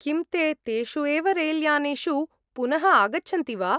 किं ते तेषु एव रेल्यानेषु पुनः आगच्छन्ति वा?